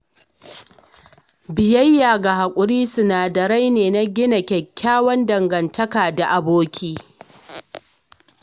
Biyayya da haƙuri sinadarai ne gina kyakkyawar dangantaka da abokai.